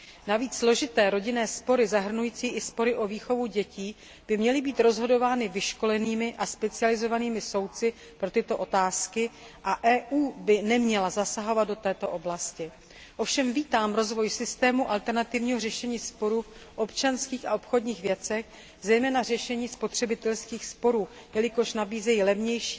Navíc složité rodinné spory zahrnující i spory o výchovu dětí by měly být rozhodovány vyškolenými a specializovanými soudci pro tyto otázky a EU by neměla zasahovat do této oblasti. Ovšem vítám rozvoj systému alternativního řešení sporů v občanských a obchodních věcech, zejména řešení spotřebitelských sporů, jelikož tento systém nabízí levnější,